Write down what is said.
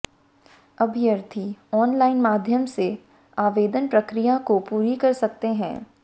अभ्यर्थी ऑनलाइन माध्यम से आवेदन प्रक्रिया को पूरी कर सकते हैं